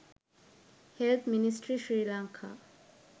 health ministry srilanka